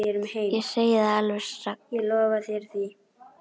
Ég segi það alveg satt.